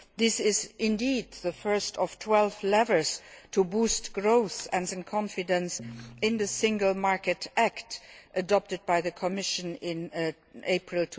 This is indeed the first of 12 levers to boost growth and strengthen confidence in the Single Market Act adopted by the Commission in April